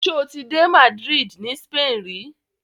Ṣoti dé Madrid ni Spain ri?